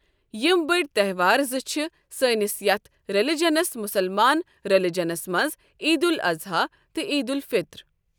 یِم بٔڑۍ تیٚہوار زٕ چھِ سٲنِس یَتھ رِلِجَنَس مُسلمانَن رِلِجَنَس منٛز عیدالضحیٰ تہٕ عیدالفطر۔